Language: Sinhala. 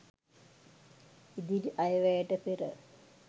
ඉදිරි අයවැයට පෙර